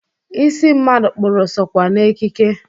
Isi mmadụ kpụrụ sokwa n'ekike.